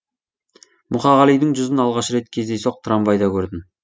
мұқағалидың жүзін алғаш рет кездейсоқ трамвайда көрдім